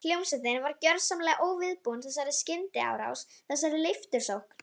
Hljómsveitin var gjörsamlega óviðbúin þessari skyndiárás, þessari leiftursókn.